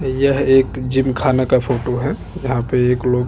यहाँ पे कोई भी आके जिम कर सकता है।